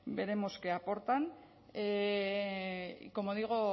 veremos qué aportan y como digo